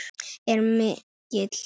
er mikill.